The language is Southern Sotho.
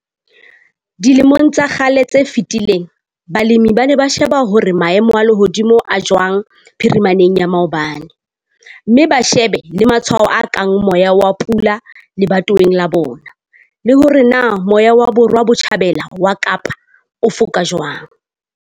Dilemong tsa kgale tse fetileng balemi ba ne ba sheba hore maemo a lehodimo a jwang phirimaneng ya maobane, mme ba shebe le matshwao a kang 'moya wa pula' lebatoweng la bona, le hore na moya wa Borwa Botjhabela wa Kaapa o foka jwang.